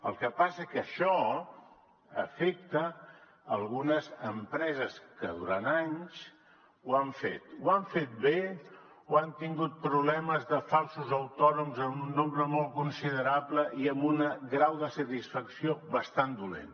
el que passa que això afecta algunes empreses que durant anys ho han fet ho han fet bé o han tingut problemes de falsos autònoms en un nombre molt considerable i amb un grau de satisfacció bastant dolent